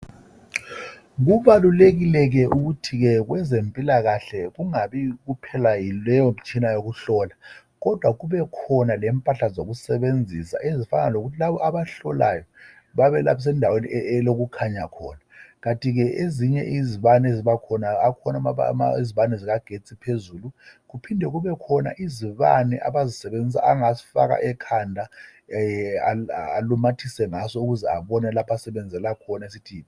Kubalulekile ke ukuthi kwezempilakahke kungabi kuphela yileyo mtshina yokuhlola kodwa kubekhona lempahla zokusebenzisa ezifana lokuthi laba abagukayo bebalaphise endaweni elokukhanya khona. Kanti ke ezinye izibane ezibakhona. Zikhona izibane zikagetsi phezulu kuphinde kubekhona izibane angasifaka ekhanda alumathise ngaso abone lapho asebenzela khona.